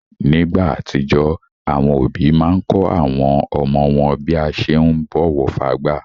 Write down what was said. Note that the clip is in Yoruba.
Nígbà àtijó, àwọn òbí máa n kọ́ àwọn ọmọ wọn bí a ṣe ún bọ̀wọ̀ fágbà.